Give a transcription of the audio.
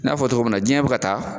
N'a fɔ togo min na jiɲɛ bi ka taa